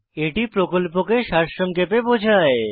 এটি প্রকল্পকে সারসংক্ষেপে বোঝায়